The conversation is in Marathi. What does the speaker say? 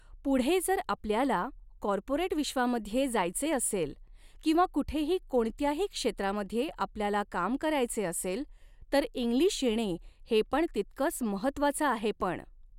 पुढे जर आपल्याला कॉर्पोरेट विश्वामध्ये जायचे असेल किंवा कुठेही कोणत्याही क्षेत्रामध्ये आपल्याला काम करायचे असेल तर इंग्लिश येणे हे पण तितकंच महत्वाचं आहे पण